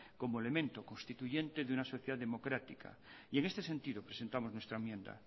como elemento constituyente de una sociedad democrática y en este sentido presentamos nuestra enmienda